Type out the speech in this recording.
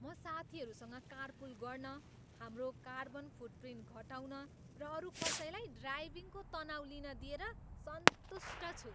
म साथीहरूसँग कारपुल गर्न, हाम्रो कार्बन फुटप्रिन्ट घटाउन र अरू कसैलाई ड्राइभिङको तनाउ लिन दिएर सन्तुष्ट छु।